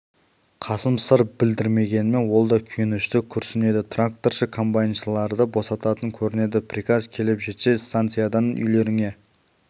қасым сыр білдірмегенімен ол да күйінішті күрсінеді тракторшы комбайншыларды босататын көрінеді приказ келіп жетсе станциядан үйлеріңе